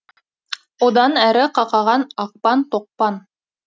одан әрі қақаған ақпан тоқпан